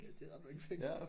Ja det er ret mange penge